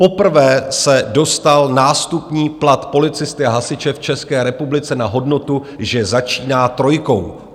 Poprvé se dostal nástupní plat policisty a hasiče v České republice na hodnotu, že začíná trojkou.